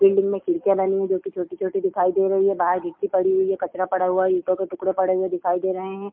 Building में खिड़किया बनी हुई हैं जोकि छोटी-छोटी दिखाई दे रही हैं बाहर गिट्टी पड़ी हुई है कचरा पड़ा हुआ है ईटों के टुकड़े पड़े हुए दिखाई दे रहे हैं।